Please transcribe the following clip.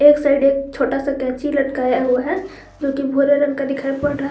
एक साइड एक छोटा सा कैंची लटकाया हुआ है जोकि भूरे रंग का दिखाई पड़ रहा है।